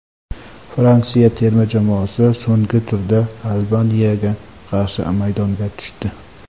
Fransiya terma jamoasi so‘nggi turda Albaniyaga qarshi maydonga tushdi.